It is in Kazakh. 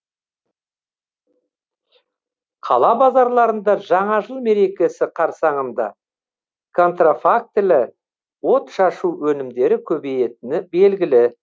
қала базарларында жаңа жыл мерекесі қарсаңында контрафактілі отшашу өнімдері көбейетіні белгілі